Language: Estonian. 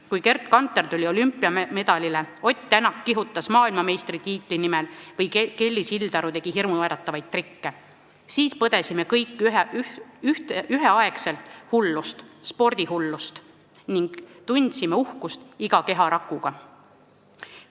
Kui Gerd Kanter tuli olümpiamedalile, Ott Tänak kihutas maailmameistri tiitli nimel või Kelly Sildaru tegi hirmuäratavaid trikke, siis põdesime kõik üheaegselt hullust – spordihullust – ning tundsime iga keharakuga uhkust.